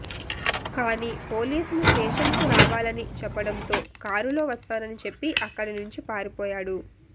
కానీ పోలీసులు స్టేషన్కు రావాలని చెప్పడంతో కారులో వస్తానని చెప్పి అక్కడినుంచి పారిపోయాడు